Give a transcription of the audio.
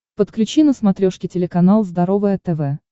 подключи на смотрешке телеканал здоровое тв